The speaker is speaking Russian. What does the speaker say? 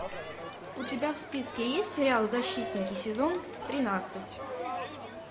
у тебя в списке есть сериал защитники сезон тринадцать